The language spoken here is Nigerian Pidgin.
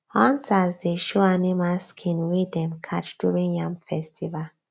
hunters dey show animal skin wey dem catch during yam festival